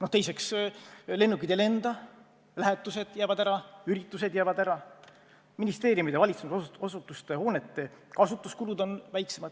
Ja veel: lennukid ei lenda, lähetused jäävad ära, üritused jäävad ära, ministeeriumide allasutuste hoonete kasutamise kulud on väiksemad.